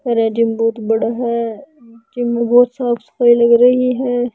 बहुत बड़ा है जिम में बहुत सफाई लग रही है।